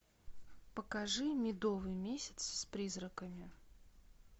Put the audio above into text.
покажи медовый месяц с призраками